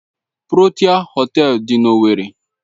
Protia Họtelu dị na owerri.